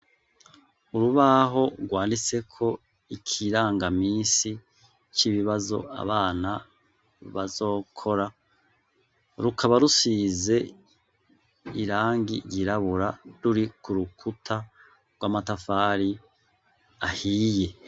Urubaho rwanditseko ikirangaminsi c'ibibazo abana bazokora. Rukaba rusize irangi ryirabura, ruri ku rukuta rw'amatafari ahiye.